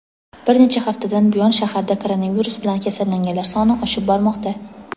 bir necha haftadan buyon shaharda koronavirus bilan kasallanganlar soni oshib bormoqda.